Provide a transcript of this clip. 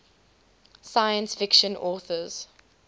science fiction authors